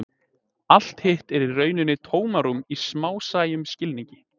allt hitt er í rauninni tómarúm í smásæjum skilningi